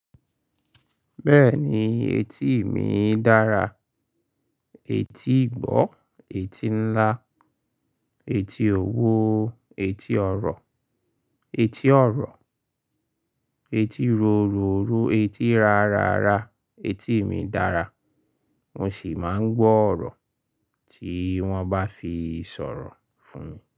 Bẹ́ẹ̀ni, etí mi dára. Etí ìgbọ́, etí ńlá, etí òwo, etí ọ̀rọ̀, etí ọ̀rọ̀, etí rorò ro, etí rárára. Etí mi dára. Mo sì máa ń gbọ́ ọ̀rọ̀ tí wọ́n bá fi sọ̀rọ̀ fún mi.